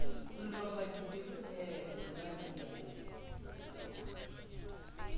re roba dipelo he moradia